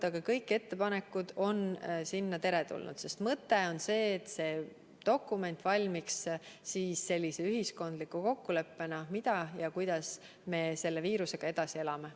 Aga kõik ettepanekud on teretulnud, sest mõte on see, et dokument valmiks sellise ühiskondliku kokkuleppena, mida me teeme ja kuidas me selle viirusega edasi elame.